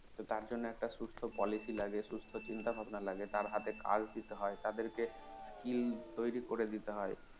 তো তার জন্য একটা সুস্থ policy লাগে সুস্থ চিন্তা ভাবনা লাগে তার হাতে কাজ দিতে হয় তাদের কে skill তৈরী করে দিতে হয়